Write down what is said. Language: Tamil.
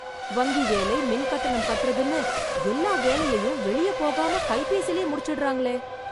வங்கி வேலை, மின் கட்டணம் கட்டுறதுன்னு எல்லா வேலையையும் வெளியே போகாம, கைபேசிலயே முடிச்சிடறாங்களே...